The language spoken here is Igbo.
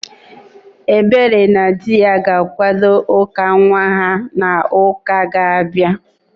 Ebere na dị ya ga-akwado ụka nwa ha n'uka na-abịa